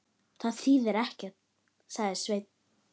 Það þýðir ekkert, sagði Svenni.